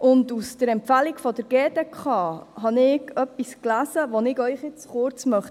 In der Empfehlung der GDK habe ich etwas gelesen, das ich Ihnen kurz vorlesen möchte.